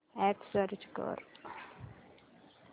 app search कर